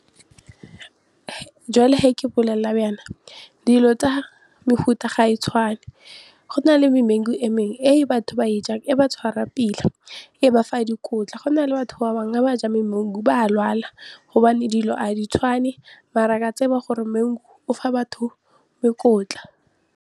Jwale he ke bolelela jaan dilo tsa mehuta ga e tshwane, go na le memangu e mengwe e batho ba e jang e ba tshwara pila, e ba fa a dikotla go na le batho ba bangwe ga ba ja memangu ba a lwala gobane dilo a di tshwane mara ka tseba gore mangu o fa batho dikotla.